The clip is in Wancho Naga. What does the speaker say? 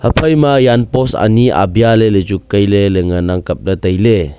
aphaima yan post anyi abia lele juk kai le ngana kap ley taile.